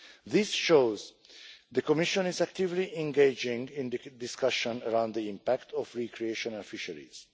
This shows that the Commission is actively engaging in the discussion around the impact of recreational fisheries.